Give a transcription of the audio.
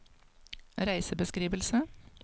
reisebeskrivelse